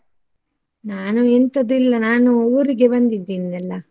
ನಾನು ಎಂತದು ಇಲ್ಲ ನಾನು ಊರಿಗೆ ಬಂದಿದ್ದೇನಲ್ಲ.